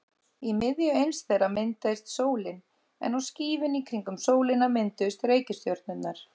Í miðju eins þeirra myndaðist sólin en á skífunni í kringum sólina mynduðust reikistjörnurnar.